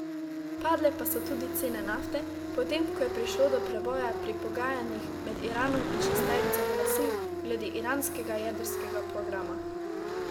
Padle pa so tudi cene nafte, potem ko je prišlo do preboja pri pogajanjih med Iranom in šesterico velesil glede iranskega jedrskega programa.